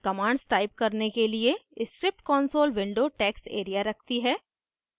commands type करने के लिए script console window text area रखती है